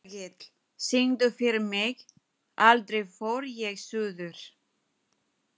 Hergill, syngdu fyrir mig „Aldrei fór ég suður“.